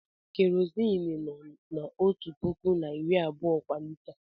Kerọzin nọ n'ọtu pụkụ na iri abụọ kwa lita.